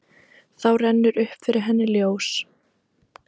Þá rennur upp fyrir henni ljós.